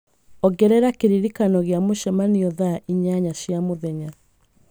ongerera kĩririkano gĩa mũcemanio thaa inyanya cia mũthenya